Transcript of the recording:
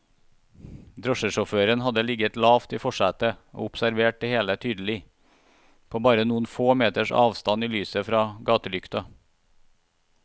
Drosjesjåføren hadde ligget lavt i forsetet og observert det hele tydelig, på bare noen få meters avstand i lyset fra gatelykta.